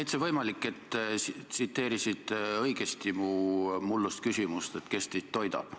Täitsa võimalik, et tsiteerisite õigesti mu mullust küsimust, et kes teid toidab.